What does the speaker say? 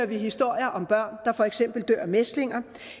vi historier om børn der for eksempel dør af mæslinger